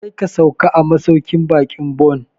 Kar ka sauka a masauƙin baƙin Bon!